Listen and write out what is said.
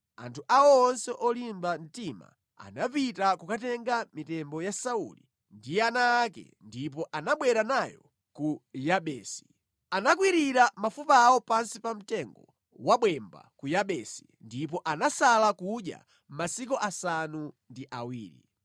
anthu awo onse olimba mtima anapita kukatenga mitembo ya Sauli ndi ana ake ndipo anabwera nayo ku Yabesi. Anakwirira mafupa awo pansi pa mtengo wabwemba ku Yabesi, ndipo anasala kudya masiku asanu ndi awiri.